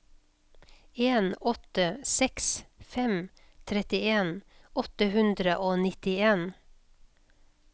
en åtte seks fem trettien åtte hundre og nittien